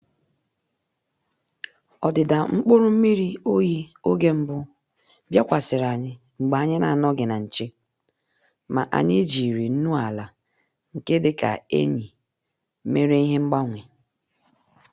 Ọ́dị́dà mkpụ́rụ́ mmírí óyí ògè mbụ́ bìákwàsị̀rị̀ ànyị́ mgbè ànyị́ nà-ànọ́ghị́ nà nchè, mà ànyị́ jírí nnù-àlà nke dì kà ényì mèrè ìhè mgbànwè.